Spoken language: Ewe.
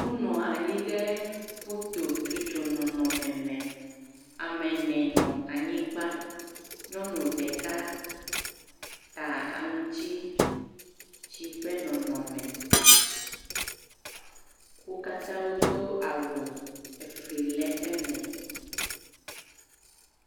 Wonɔ anyi ɖe fototsotso nɔnɔme me, ame ene nɔ anyigba. Nyɔnu ɖeka ta aŋuti ti tsi ƒe nɔnɔme. Wo katã wodo awu efli le eme.